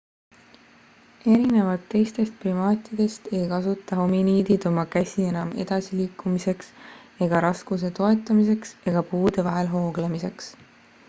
erinevalt teistest primaatidest ei kasuta hominiidid oma käsi enam edasiliikumiseks ega raskuse toetamiseks ega puude vahel hooglemiseks